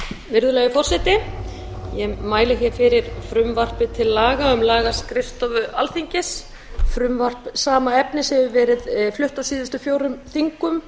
virðulegi forseti ég mæli hér fyrir frumvarpi til laga um lagaskrifstofu alþingis frumvarp sama efnis hefur verið flutt á síðustu fjórum þingum